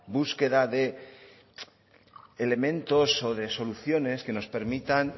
búsqueda de elementos o de soluciones que nos permitan